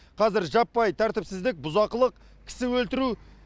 қазір жаппай тәртіпсіздік бұзақылық кісі өлтіру